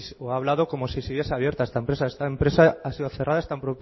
o ha hablado como si siguiese abierta esta empresa esta empresa ha sido cerrada está